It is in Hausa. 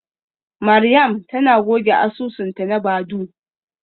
Mariam tana goge asusunta na Badoo.